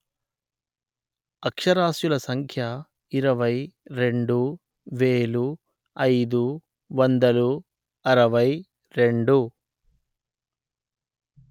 అక్షరాస్యుల సంఖ్య ఇరవై రెండు వెలు అయిదు వందలు అరవై రెండు